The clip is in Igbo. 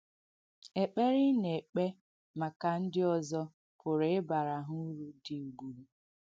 Ekpere ị na-ekpē maka ndị ọ̀zọ̀ pụ̀rụ ịbarā ha uru dī ūgbùrù.